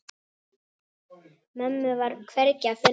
Mömmu var hvergi að finna.